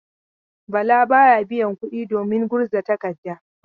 Bala ba ya biyan kuɗi domin gurza tadarka.